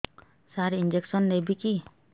ସାର injection ନେବିକି